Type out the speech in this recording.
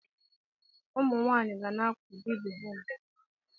Ụmụ nwanyị ga na-akwado ibe ha mgbe niile.